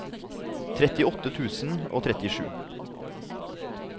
trettiåtte tusen og trettisju